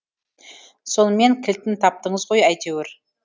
сонымен кілтін таптыңыз ғой әйтеуір